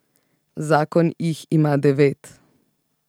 Zakon jih ima devet.